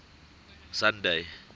sunday